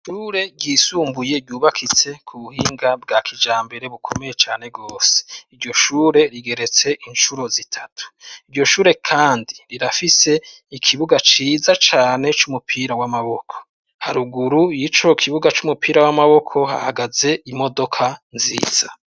ishure ryisumbuye ryubakitse ku buhinga bwa kijambere bukomeye cane rwose. iryo shure rigeretse inshuro zitatu. iryo shure kandi rirafise ikibuga ciza cane c'umupira w'amaboko. haruguru y'ico kibuga c'umupira w'amaboko hahagaze imodoka nziza.